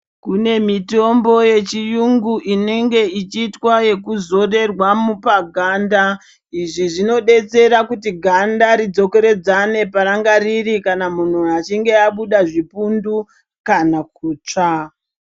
Kune mitombo yechiyungu inenge ichiitwa ekuzorerwa paganda, izvi zvinodetsera kuti ganda ridzokeredzane paranga riri kana munhu achinge abuda zvipundu kana kutsvaka.